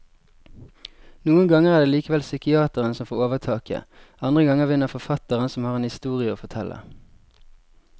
Noen ganger er det likevel psykiateren som får overtaket, andre ganger vinner forfatteren som har en historie å fortelle.